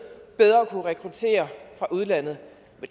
bedre at kunne rekruttere fra udlandet